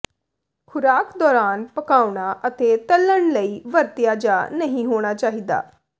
ਖੁਰਾਕ ਦੌਰਾਨ ਪਕਾਉਣਾ ਅਤੇ ਤਲ਼ਣ ਲਈ ਵਰਤਿਆ ਜਾ ਨਹੀ ਹੋਣਾ ਚਾਹੀਦਾ